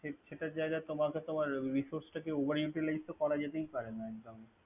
ঠিক সেটার জাগায় তোমাকে তোমার misuse টাকে over utlize তো করা যেতে পারে নাই একদম।